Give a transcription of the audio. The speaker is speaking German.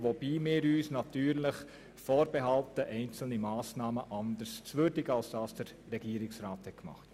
Wir behalten uns natürlich vor, einzelne Massnahmen anders zu würdigen, als der Regierungsrat dies tut.